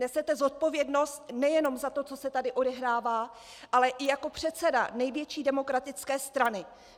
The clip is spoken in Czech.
Nesete zodpovědnost nejenom za to, co se tady odehrává, ale i jako předseda největší demokratické strany.